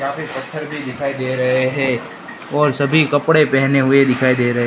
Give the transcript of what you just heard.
काफी पत्थर भी दिखाई दे रहे है और सभी कपड़े पहने हुए दिखाई दे रहे--